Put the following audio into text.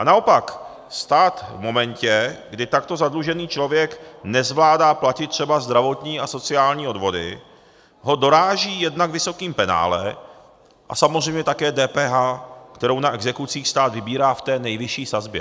A naopak, stát v momentě, kdy takto zadlužený člověk nezvládá platit třeba zdravotní a sociální odvody, ho doráží jednak vysokým penále a samozřejmě také DPH, kterou na exekucích stát vybírá v té nejvyšší sazbě.